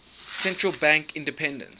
central bank independence